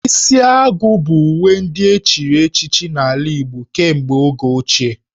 Isi agu bụ uwe ndị echiri echichi n'ala Igbo kemgbe oge ochie